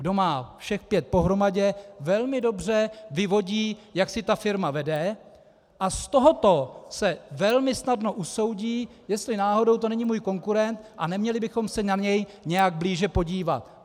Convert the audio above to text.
Kdo má všech pět pohromadě, velmi dobře vyvodí, jak si ta firma vede, a z tohoto se velmi snadno usoudí, jestli náhodou to není můj konkurent a neměli bychom se na něj nějak blíže podívat.